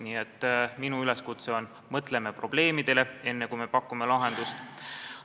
Nii et minu üleskutse on: mõtleme probleemidele, enne kui me lahendust pakume.